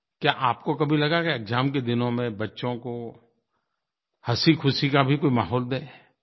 क्या आपको कभी लगा कि एक्साम के दिनों में बच्चों को हँसीख़ुशी का भी कोई माहौल दें